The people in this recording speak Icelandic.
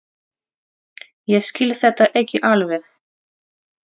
Ég skil þetta ekki alveg.